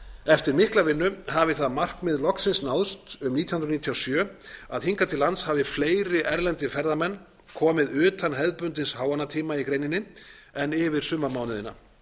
eftir mikla vinnu hafi það markmið loksins náðst um nítján hundruð níutíu og sjö að hingað til lands hafi fleiri erlendir ferðamenn komið utan hefðbundins háannatíma í greininni en yfir sumarmánuðina